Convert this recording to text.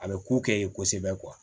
A bɛ ko kɛ yen kosɛbɛ